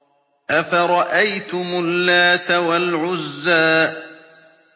أَفَرَأَيْتُمُ اللَّاتَ وَالْعُزَّىٰ